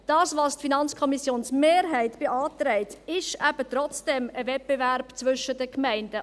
Was die FiKo-Mehrheit beantragt, ist eben trotzdem ein Wettbewerb zwischen den Gemeinden;